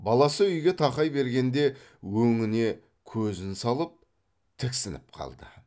баласы үйге тақай бергенде өңіне көзін салып тіксініп қалды